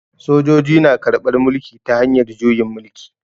Sojoji na karban mulki ta hanyar juyin mulki.